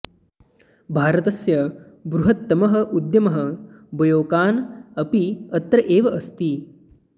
भारतस्य बृहत्तमः उद्यमः बयोकान् अपि अत्र एव अस्ति